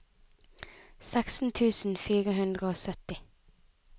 seksten tusen fire hundre og sytti